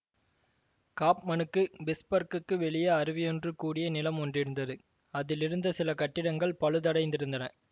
காஃப்மனுக்கு பிட்ஸ்பர்க்குக்கு வெளியே அருவியொன்று கூடிய நிலம் ஒன்றிருந்தது அதிலிருந்த சில கட்டிடங்கள் பழுதடைந்திருந்தன